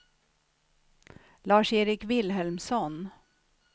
Lars-Erik Vilhelmsson